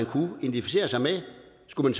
kunne identificere sig med skulle